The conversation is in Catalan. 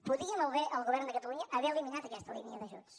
podia molt bé el govern de catalunya haver eliminat aquesta línia d’ajuts